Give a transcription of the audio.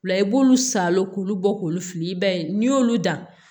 O la i b'olu salo k'olu bɔ k'olu fili i b'a ye n'i y'olu dan